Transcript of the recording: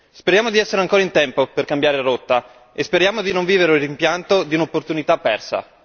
Speriamo di essere ancora in tempo per cambiare rotta e speriamo di non vivere il rimpianto di un'opportunità persa.